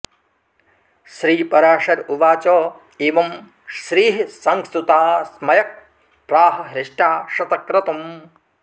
श्रीपराशर उवाच एवं श्रीः संस्तुता स्मयक् प्राह हृष्टा शतक्रतुम्